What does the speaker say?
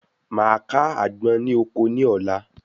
Màá ká àgbọn ní oko ní ọ̀la